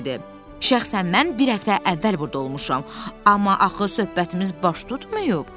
Şəxsən mən bir həftə əvvəl burda olmuşam, amma axı söhbətimiz baş tutmayıb?